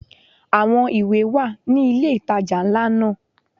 Àwọn ìwé wà ní ilé ìtajà ńlá náà.